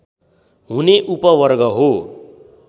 हुने उपवर्ग हो